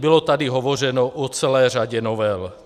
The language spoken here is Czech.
Bylo tady hovořeno o celé řadě novel.